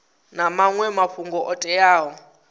na maṅwe mafhungo o teaho